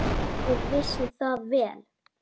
Og vissi það vel.